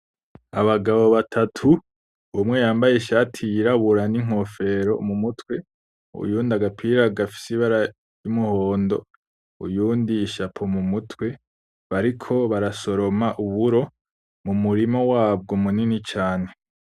Abagabo batatu umwe yambaye ishati yirabura n'inkofero mu mutwe, uyundi agapira gafise ibara ry'umuhondo ,uyundi ishapo mu mutwe, bariko barasoroma uburo mu murima wabwo munini cane.